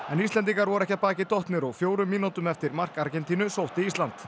en Íslendingar voru ekki að baki dottnir og fjórum mínútum eftir mark Argentínu sótti Ísland